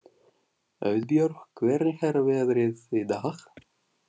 Auðbjörg, hvernig er veðrið í dag?